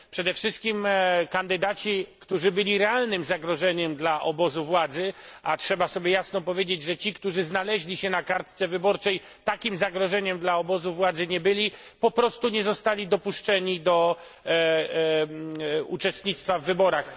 Przede wszystkim kandydaci, którzy byli realnym zagrożeniem dla obozu władzy a trzeba sobie jasno powiedzieć, że ci, którzy znaleźli się na kartce wyborczej, takim zagrożeniem dla obozu władzy nie byli po prostu nie zostali dopuszczeni do uczestnictwa w wyborach.